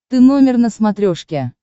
ты номер на смотрешке